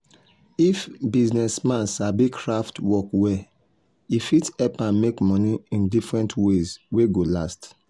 if business man sabi craft work well e fit help am make money in different ways wey go last